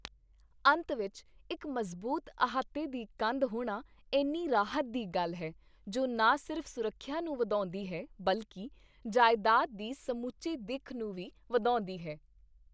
ਅੰਤ ਵਿੱਚ ਇੱਕ ਮਜ਼ਬੂਤ ਅਹਾਤੇ ਦੀ ਕੰਧ ਹੋਣਾ ਇੰਨੀ ਰਾਹਤ ਦੀ ਗੱਲ ਹੈ ਜੋ ਨਾ ਸਿਰਫ਼ ਸੁਰੱਖਿਆ ਨੂੰ ਵਧਾਉਂਦੀ ਹੈ ਬਲਕਿ ਜਾਇਦਾਦ ਦੀ ਸਮੁੱਚੀ ਦਿੱਖ ਨੂੰ ਵੀ ਵਧਾਉਂਦੀ ਹੈ।